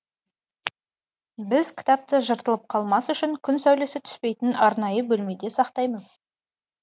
біз кітапты жыртылып қалмас үшін күн сәулесі түспейтін арнайы бөлмеде сақтаймыз